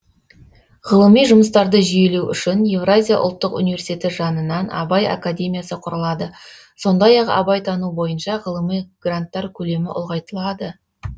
ғылыми жұмыстарды жүйелеу үшін евразия ұлттық университеті жанынан абай академиясы құрылады сондай ақ абайтану бойынша ғылыми гранттар көлемі ұлғайтылады